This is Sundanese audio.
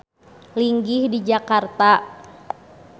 Linggih di Jakarta.